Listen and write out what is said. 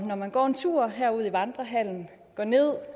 når man går en tur her ud i vandrehallen og går ned